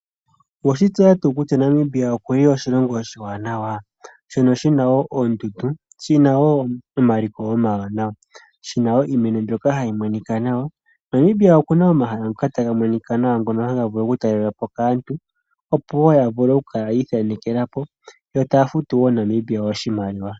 Owe shi tseya ngaa kutya Namibia okuli oshilongo oshiwanawa? Shina oondundu, omaliko omawanawa, niimeno mbyoka hayi monika nawa. Namibia okuna omahala ngoka haga monika nawa, hagavulu okutalelwapo kaantu, opo wo yavule okukala yiithanekelapo yotadi futu wo Namibia oshimaliwa.